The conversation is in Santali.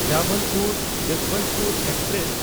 ᱡᱚᱵᱚᱞᱯᱩᱨ–ᱡᱚᱥᱵᱚᱱᱛᱯᱩᱨ ᱮᱠᱥᱯᱨᱮᱥ